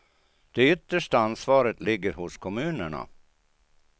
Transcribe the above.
Det yttersta ansvaret ligger hos kommunerna.